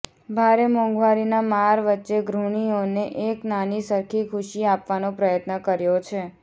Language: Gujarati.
ભારે મોંઘવારીના માર વચ્ચે ગૃહિણીઓને એક નાની સરખી ખુશી આપવાનો પ્રયત્ન કર્યો છે